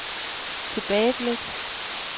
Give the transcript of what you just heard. tilbageblik